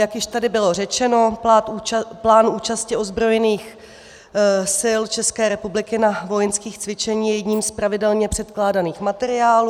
Jak již tady bylo řečeno, plán účasti ozbrojených sil České republiky na vojenských cvičeních je jedním z pravidelně předkládaných materiálů.